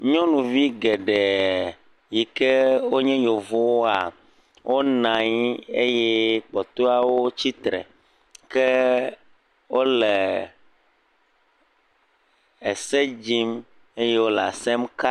Nyɔnuvi geɖe yi ke o nye yevo woa o nanyi eye kpɔtɔeawo tsitre, ke o le ese dzim, eye o le asem ka.